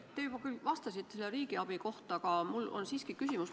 Te juba küll vastasite riigiabi kohta, aga mul on siiski küsimus.